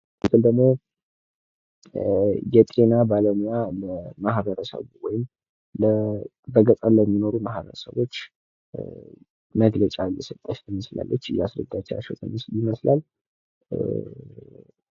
ይህ ደግሞ የጤና ባለሙያ ማህበረብ ወይም በገጠር ለሚኖር ማህበረሰቦች መግለጫ እየሰጠች ትመልስላች ፤ እያስረዳቻቸው ይመስላል።